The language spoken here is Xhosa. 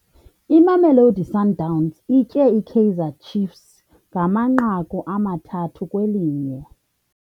Imamelosi Sundowns itye iKaizer Ciefs ngamanqaku amathathu kwelinye.